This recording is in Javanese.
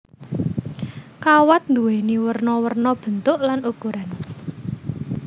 Kawat nduwéni werna werna bentuk lan ukuran